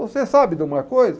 Você sabe de uma coisa?